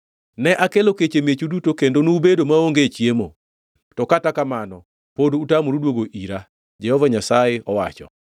“Ne akelo kech e miechu duto, kendo nubedo maonge chiemo, to kata kamano pod utamoru duogo ira,” Jehova Nyasaye owacho.